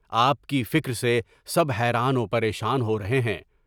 آپ کی فکر سے سب حیران و پریشان ہو رہے ہیں۔